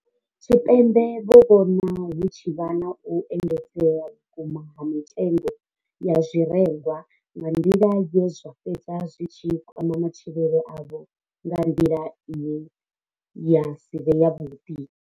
Tshipembe vho vhona hu tshi vha na u engedzea vhukuma ha mitengo ya zwirengwa nga nḓila ye zwa fhedza zwi tshi kwama matshilele avho nga nḓila ine ya si vhe yavhuḓi.